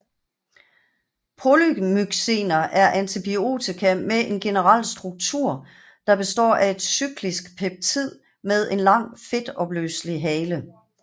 Polymyxiner er antibiotika med en generel struktur der består af et cyklisk peptid med en lang fedtopløselig hale